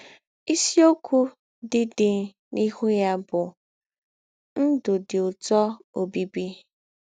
Ìsìokwū dị dị n’íhū yà bụ̀ “ Ndū̄ Dị Ǔtọ̀ Ọ́bíbí. ”